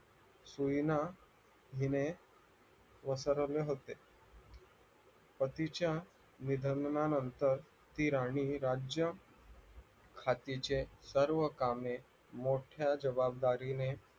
सुईना हीने होते पतीच्या निधनानंतर ती राणी राज्य खातीचे सर्व कामे मोठ्या जबाबदारीने